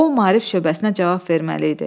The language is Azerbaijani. O Maarif şöbəsinə cavab verməli idi.